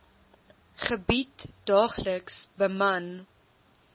gebied daagliks beman